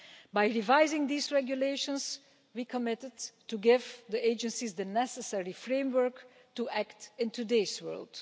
By revising these regulations, we committed to giving the agencies the necessary framework to act in today's world.